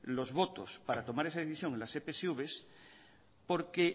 los votos para tomar esa decisión en las epsv porque